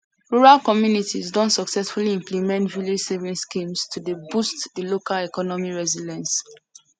rural communities don successfully implement village saving schemes to dey boost de local economic resilience